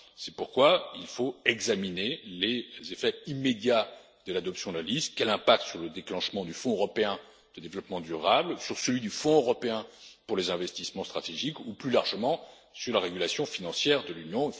plus loin. C'est pourquoi il faut examiner les effets immédiats de l'adoption de la liste et son impact sur le déclenchement du Fonds européen de développement durable, sur celui du Fonds européen pour les investissements stratégiques ou plus largement sur la régulation financière